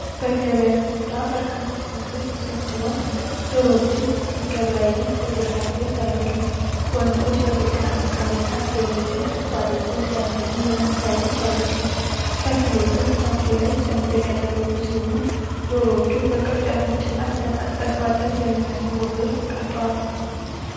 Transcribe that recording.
በገበያ ስፍራ በርካታ ሰዎች ተሰብስበው ዶሮዎችን ሲገበያዩ ፎቶግራፍ ላይ ይታያሉ። ወንዶች በተጨናነቀ ቦታ ዶሮዎችን ከፍ አድርገው ሲያሳዩ ወይም ሲያዩ ይታያሉ። ከፊሎቹ ፊታቸው ላይ ጭንብል ያደረጉ ሲሆን፣ ዶሮዎቹ በቅርጫቶችና በተጣጣፉ አጥር በሚመስሉ ቦታዎች ተቀምጠዋል።